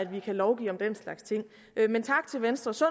vi kan lovgive om den slags ting men tak til venstres